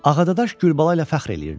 Ağadadaş Gülbala ilə fəxr eləyirdi.